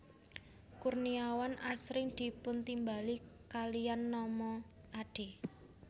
Kurniawan asring dipuntimbali kaliyan nama Ade